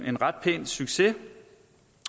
en ret pæn succes